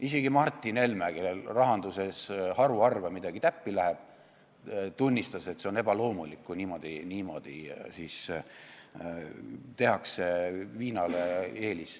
Isegi Martin Helme, kellel rahanduse teemal haruharva midagi täppi läheb, tunnistas, et see on ebaloomulik, kui niimoodi viina eelistatakse.